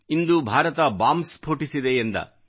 ಇಂದು Bharat bomb ಸ್ಫೋಟಿಸಿದೆ ಎಂದ